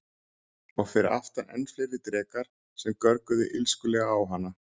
Og fyrir aftan enn fleiri drekar sem görguðu illskulega á hana.